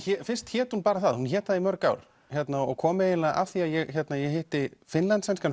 fyrst hét hún bara það hún hét það í mörg ár og kom eiginlega af því ég hitti Finnslandssænskan